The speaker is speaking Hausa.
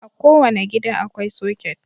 A kowane gida akwai soket.